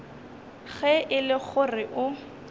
ge e le gore o